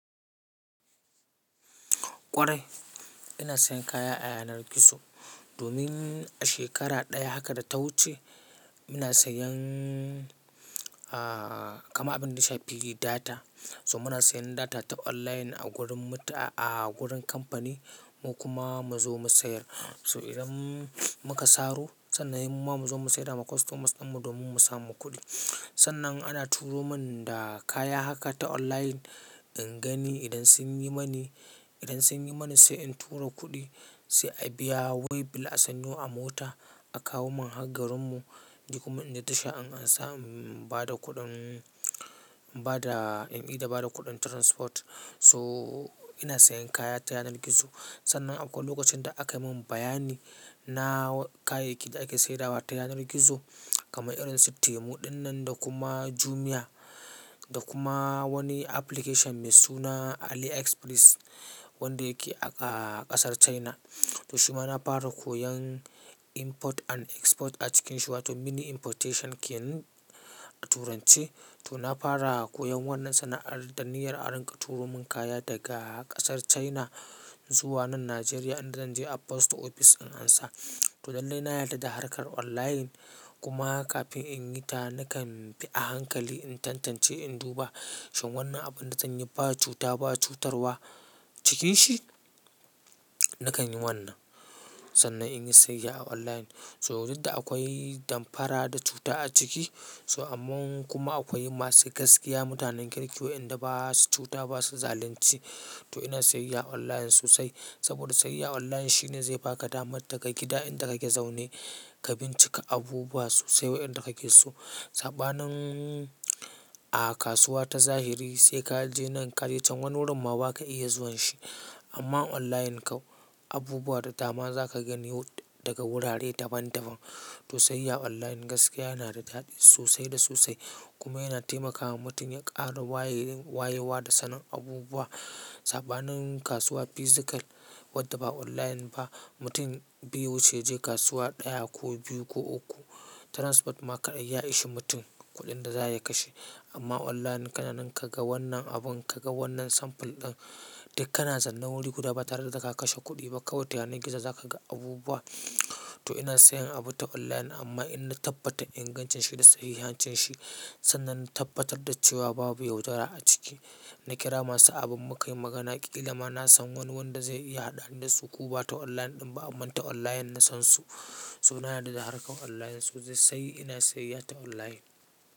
Kwarai ina sayan kaya ta yanar gizo domin a shekara daya haka da ta wuce muna sayan, ah, kama abin yashafi data. So muna sayan data ta online a wurin, a wurin kamfani mu kuma mu zo mu sayar. So idan muka saro sannan mu zo mu saida ma customers din mu domin mu samu kuɗi. Sannan ana turomin da kaya haka ta online in gani idan sun yimini idan sun yimini sai in turo kudi sai. A biya way bill a sanyo a mota a kawomin har garinmu. Ni kuma in da tasha in an sa in ba da kuɗin, ba da, ni da ba da kuɗin transport. So ina sayan kaya ta yanar gizo sannan akwai lokacin da aka yi min bayani na kayayyakin da ake saidawa ta yanar gizo kamar irin su Temu dinnan da kuma Jumia da kuma wani application mai suna Aliexpress wanda yake a ƙasar China. To shima na fara koyon import and export a cikinsu wato mini importation ke turanci. To na fara koyan wannan sannan da niyyar a rika turo mun kaya daga ƙasar China zuwa nan Nigeria idan zan je a post office in an sa. To dande na yarda da harkar online kuma kafin in yi ta nakan bi a hankali in tantance in duba shin wannan abin da zan yi ba cuta ba cutarwa cikin shi. Nakan yi wannan sannan in yi siyayya a online. So duk da akwai damfara da cuta aciki so amman kuma akwai masu gaskiya mutanen kirki wayanda basu cuta basu zalinci to ina sayayya online sosai saboda sayayya online shine zai baka dama daga gida inda kake zaune ka bincike abubuwa sosai wayen da kake so. Saɓanin, a kasuwa ta zahiri sai ka je nan ka je can wani wurin ma ba ka iya zuwan shi. Amma online kam abubuwa da dama za ka gani daga wurare daban daban. To sayayya online gaskiya yana da daɗi sosai da sosai kuma yana taimakawa mutum ya ƙara wayewa wayewa da sanin abubuwa. Saɓanin kasuwa physical wadda ba online ba mutum biyu ce je kasuwa daya ko biyu ko uku transport ma kadai ya ishi mutum kuɗin da za ya kashe. Amma online kana ninka ga wannan abun ka ga wannan samful ɗin dai kana zanna wuri kuda ba tare da ka kashe kuɗi ba kawai ta yanar gizo za ka ga abubuwa. To ina sayan abu ta online amma in na tabbatar ingancin shi da sahihancin shi sannan na tabbatar da cewa babu yaudara a ciki. Na kira masu abun mu ka yi maganaƙi. Kila ma na san wani wanda zai iya haɗa ni da su ko ba ta online ɗin ba amma ta online na san su. So yana da dabarar online sosai sai ina sayayya ta online.